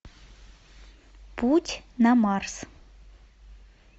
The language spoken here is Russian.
путь на марс